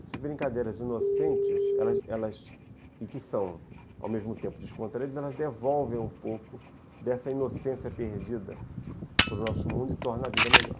Essas brincadeiras inocentes, elas elas e que são ao mesmo tempo descontraídas, elas devolvem um pouco dessa inocência perdida para o nosso mundo e torna a vida melhor.